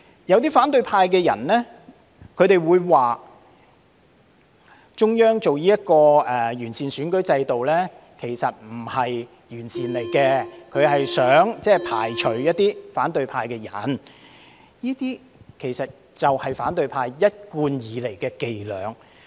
有些反對派人士說中央現在提出完善選舉制度，其實並不是完善制度，而是想排除一些反對派的人，這些其實便是反對派一貫以來的伎倆。